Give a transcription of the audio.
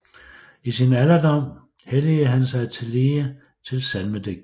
I sin alderdom helligede han sig tillige til salmedigtning